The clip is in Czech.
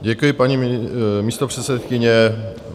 Děkuji, paní místopředsedkyně.